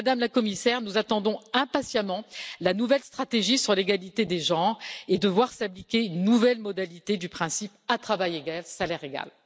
Madame la Commissaire, nous attendons impatiemment la nouvelle stratégie sur l'égalité des genres et de voir s'appliquer une nouvelle modalité du principe à travail égal, salaire égal.